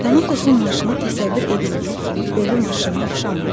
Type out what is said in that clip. Tanatosun maşını təsəvvür edildiyi kimi ölü maşınına oxşamırdı.